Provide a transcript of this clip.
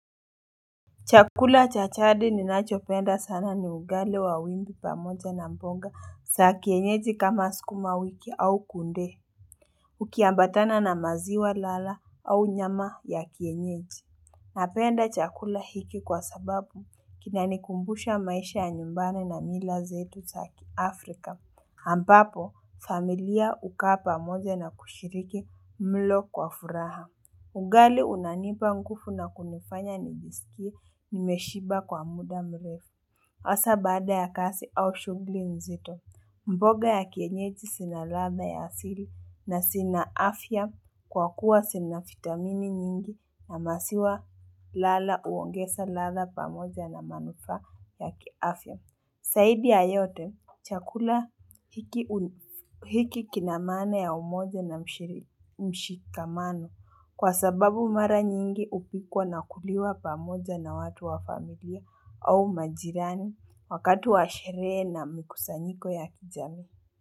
Chakula cha jadi ninachopenda sana ni ugali wa wimbi pamoja na mboga za kienyeji kama sukuma wiki au kunde. Ukiambatana na maziwa lala au nyama ya kienyeji. Napenda chakula hiki kwa sababu kinanikumbusha maisha ya nyumbani na mila zetu saa kiafrika. Ambapo familia huu kaa pamoja na kushiriki mlo kwa furaha. Ugali unanipa nguvu na kunifanya nijisikie nimeshiba kwa muda mrefu. Hasa baada ya kazi au shughuli mzito, mboga ya kienyeji zina ladha ya asili na zina afya kwa kuwa zina vitamini nyingi na maziwa lala uongeza ladha pamoja na manufaa ya kiafya. Zaidi ya yote, chakula hiki kina maana ya umoja na mshikamano kwa sababu mara nyingi hupikwa na huliwa pamoja na watu wa familia au majirani wakati wa sherehe na mikusanyiko ya kijamii.